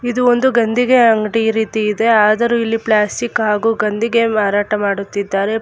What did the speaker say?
ಇದು ಒಂದು ಗಂದಿಗೆ ಅಂಗ್ಡಿ ರೀತಿ ಇದೆ ಆದರೂ ಇಲ್ಲಿ ಪ್ಲಾಸ್ಟಿಕ್ ಹಾಗು ಗಂದಿಗೆ ಮಾರಾಟ ಮಾಡುತ್ತಿದ್ದಾರೆ.